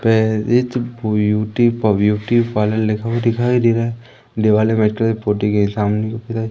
प्रेरिज beauty pub beauty parlour लिखा हुआ दिखाई दे रहा है दीवाल में व्हाइट कलर पोती गई सामने दिख पुरा--